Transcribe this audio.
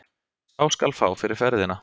Sá skal fá fyrir ferðina!